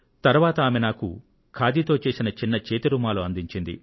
తరువాత ఆమె నాకు ఓ చిన్న చేతి రుమాలును ఇచ్చారు